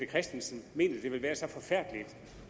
christensen mener det vil være så forfærdeligt